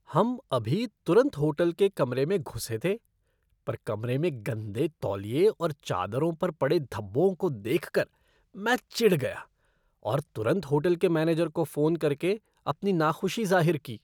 हम अभी तुरंत होटल के कमरे में घुसे थे पर कमरे में गंदे तौलिए और चादरों पर पड़े धब्बों को देख कर मैं चिढ़ गया और तुरंत होटल के मैनेजर को फोन करके अपनी नाखुशी ज़ाहिर की।